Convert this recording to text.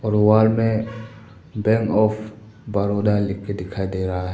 दीवार मे bank of Baroda लिख के दिखाई दे रहा है।